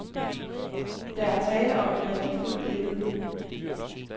Der er tale om et værdifuldt billede.